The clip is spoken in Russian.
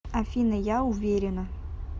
афина я уверена